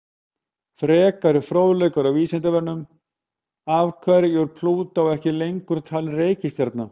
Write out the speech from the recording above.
Frekari fróðleikur á Vísindavefnum: Af hverju er Plútó ekki lengur talin reikistjarna?